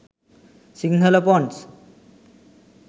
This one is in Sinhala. sinhala fonts